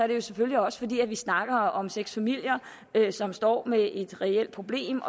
det selvfølgelig også fordi vi snakker om seks familier som står med et reelt problem